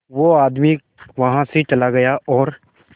वो आदमी वहां से चला गया और